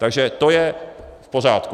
Takže to je v pořádku.